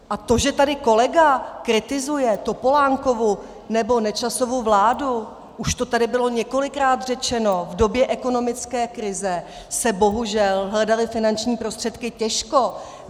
A to, že tady kolega kritizuje Topolánkovu nebo Nečasovu vládu - už to tady bylo několikrát řečeno, v době ekonomické krize se bohužel hledaly finanční prostředky těžko.